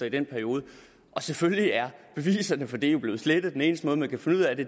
i den periode og selvfølgelig er beviserne for det blevet slettet den eneste måde man kan finde ud af det